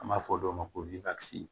An b'a fɔ dɔw ma ko